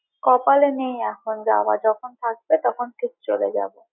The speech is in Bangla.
কপালে নেই এখন যাওয়া তো যখন থাকবে তখন ঠিক চলে যাবো।